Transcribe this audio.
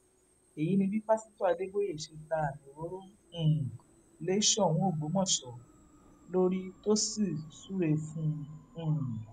èyí ni bí pásítọ adébóye ṣe ta àmì òróró um lé soun ọgbọmọsọ lórí tó sì súre fún un um